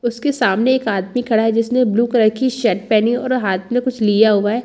उसके सामने एक आदमी खड़ा हैं जिसने ब्लू कलर की शर्ट पहनी और हाथ में कुछ लिया हुआ हैं।